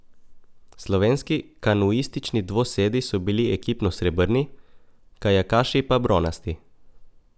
Slovenski kanuistični dvosedi so bili ekipno srebrni, kajakaši pa bronasti.